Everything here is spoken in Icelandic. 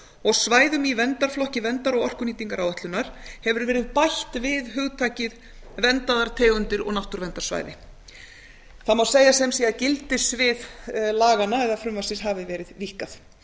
og svæðum í verndarflokki verndar og orkunýtingaráætlunar hefur verið bætt við hugtakið verndaðar tegundir og náttúruverndarsvæði það má segja að þar með hafi gildissvið laganna eða frumvarpsins hafi verið víkkað